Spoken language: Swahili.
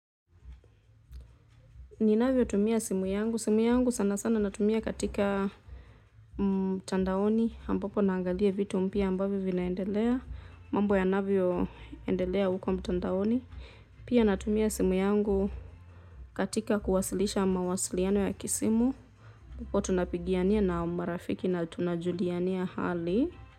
Ninavyotumia simu yangu, simu yangu sana sana natumia katika mtandaoni, ambapo naangalia vitu mpya ambavyo vinaendelea, mambo ya navyo endelea uko mtandaoni. Pia natumia simu yangu katika kuwasilisha mawasiliano ya kisimu, hapo tunapigiania na marafiki na tunajuliania hali.